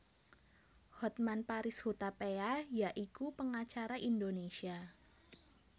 Hotman Paris Hutapea ya iku pengacara Indonesia